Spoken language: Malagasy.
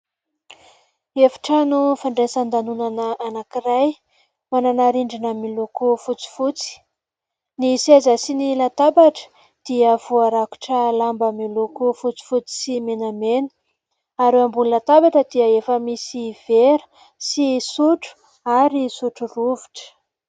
Efitrano fandraisan-danonana anankiray manana rindrina miloko fotsifotsy, ny seza sy ny latabatra dia voarakotra lamba miloko fotsifotsy sy menamena ary eo ambony latabatra dia efa misy vera sy sotro ary sotro rovitra.